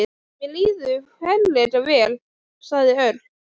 Mér líður ferlega vel, sagði Örn.